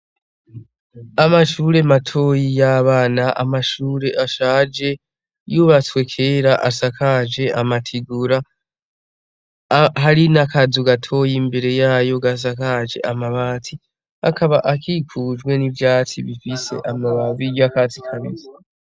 Amashuri mato y'abana amashuri ashaje yubatswe kera asakajwe amategura hari n'akazu gatoya imbere yayo gasakaje amabati akaba akikujwe n'ivyatsi bibisi amababi yakatsi kabisi.